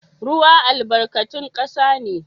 Ruwa albarkatun kasa ne.